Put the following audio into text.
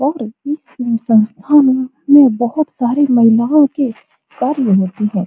और ई सब संस्था में यह बहुत सारी महिलाओं के अर्न होती है।